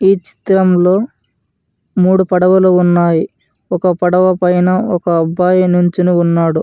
ఈ చిత్రంలో మూడు పడవలు ఉన్నాయ్ ఒక పడవ పైన ఒక అబ్బాయి నించొని ఉన్నాడు.